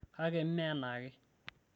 kake mme enaake